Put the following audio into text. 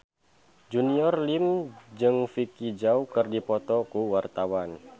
Junior Liem jeung Vicki Zao keur dipoto ku wartawan